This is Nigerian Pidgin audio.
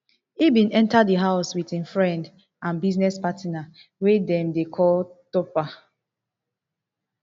e bin enta di house wit im friend and business partner wey dem dey call topher